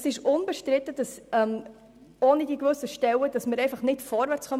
Es ist unbestritten, dass wir ohne besagte Stellen auf diesem Gebiet nicht vorwärtskommen.